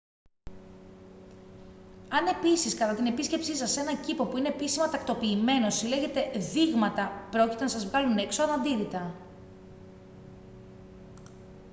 αν επίσης κατά την επίσκεψή σας σε έναν κήπο που είναι επίσημα τακτοποιημένος συλλέγετε «δείγματα» πρόκειται να σας βγάλουν έξω αναντίρρητα